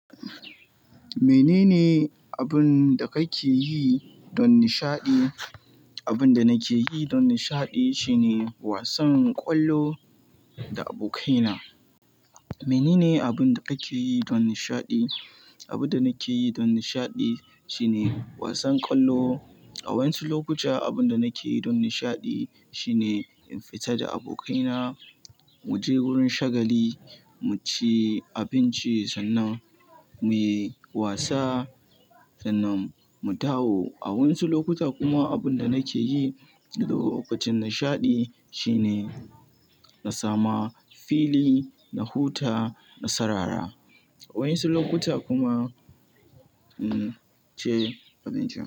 Menene abun da kake yi don nishaɗi? Abun da nake yi don nishaɗi shine wasan ƙwallo da abokaina. Menene abun da kake yi don nishaɗi? Abun da nake yi don nishaɗi shine wasan ƙwallo. A wani lokuta abun da nake yi don nishaɗi shine in fita da abokaina, mu je wurin shagali, mu ci abinci sannan mu yi wasa sannan mu dawo. A wani lokuta kuma abun da nake yi lokacin nishaɗi shine na samu fili, na huta na sarara. A wani lokuta kuma, ci abinci.